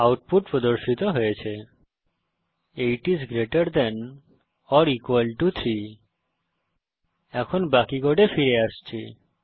output প্রদর্শিত হয়েছে160 8 is greater than or equal to 3 এখন বাকি কোডে ফিরে আসছি